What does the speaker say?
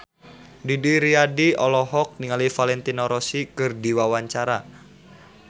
Didi Riyadi olohok ningali Valentino Rossi keur diwawancara